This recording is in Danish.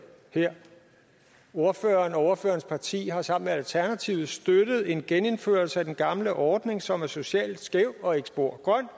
her ordføreren og ordførerens parti har sammen med alternativet støttet en genindførelse af den gamle ordning som er socialt skæv og ikke spor grøn